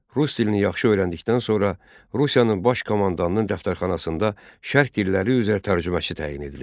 Rus dilini yaxşı öyrəndikdən sonra, Rusiyanın baş komandanının dəftərxanasında şərq dilləri üzrə tərcüməçi təyin edilir.